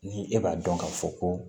Ni e b'a dɔn k'a fɔ ko